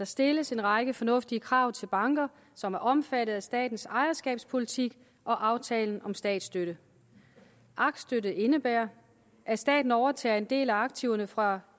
stilles en række fornuftige krav til de banker som er omfattet af statens ejerskabspolitik og aftalen om statsstøtte aktstykket indebærer at staten overtager en del af aktiverne fra